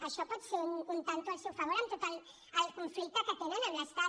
això pot ser un tanto al seu favor en tot el conflicte que tenen amb l’estat